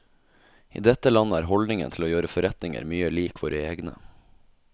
I dette landet er holdningen til å gjøre forretninger mye lik våre egne.